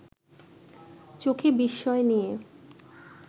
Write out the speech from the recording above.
চোখে বিস্ময় নিয়ে